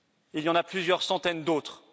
Il y en a plusieurs centaines d'autres.